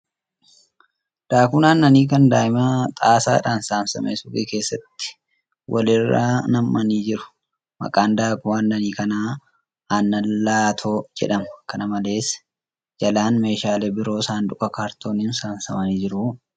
Daakuun aannanii kan daa'imaa xaasaadhaan saamsame suuqii keessatti wal irra nammannii jiru . Maqaan daakuu aannanii kanaa ' aannan Laatoo ' jedhama. Kana malees, jalaan meeshaaleen biroo sanduuqa kaartooniin saamsamanii jiru.